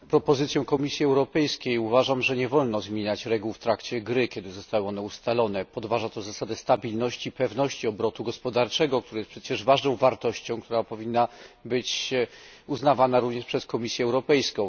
Panie Przewodniczący! Uważam, że nie wolno zmieniać reguł w trakcie gry, kiedy zostały one ustalone, podważa to zasadę stabilności i pewności obrotu gospodarczego, który jest przecież ważną wartością, która powinna być uznawana również przez Komisję Europejską.